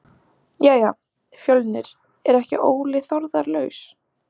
Jæja Fjölnir er ekki Óli Þórðar laus?